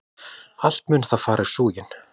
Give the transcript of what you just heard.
Allt mun það fara í súginn!